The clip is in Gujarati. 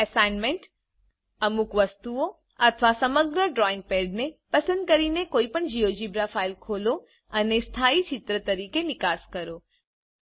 હવે એસાઈનમેંટ - અમુક વસ્તુઓ અથવા સમગ્ર ડ્રોઈંગ પેડને પસંદ કરીને કોઇપણ જીઓજીબ્રા ફાઈલ ખોલો અને સ્થાયી ચિત્ર તરીકે નિકાસ કરો